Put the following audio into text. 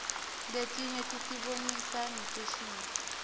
letinye tisibonisa ngefashini